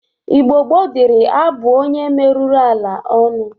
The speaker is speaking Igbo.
Igbo gboo dịri abụ onye meruru ala ọnụ.